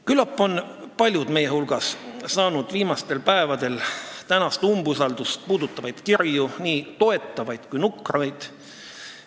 Küllap on paljud meie hulgast saanud viimastel päevadel tänast umbusaldusavaldust puudutavaid kirju, nii toetavaid kui nukraid.